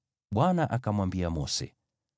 Bwana akamwambia Mose,